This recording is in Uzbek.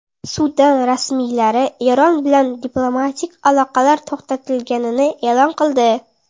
Sudan rasmiylari Eron bilan diplomatik aloqalar to‘xtatilganini e’lon qildi.